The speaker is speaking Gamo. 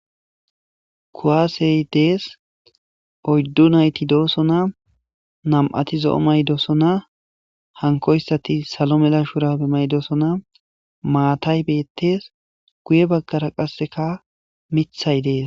Kuaasey dees oyddu nayti doosona nam'ati zo7o maydosona hankoyssati salo mela shurabe maydosona maatay beettes guye baggara qasseka mithay dees